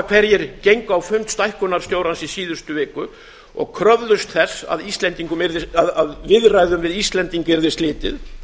hverjir gengu á fund stækkunarstjórans í síðustu viku og kröfðust þess að viðræðum við íslendinga yrði slitið